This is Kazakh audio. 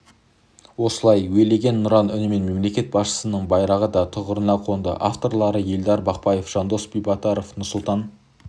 осылай уелеген нұран үнімен мемлекет басшысының байрағы да тұғырына қонды авторлары елдар бақпаев жандос битабаров нұрсұлтан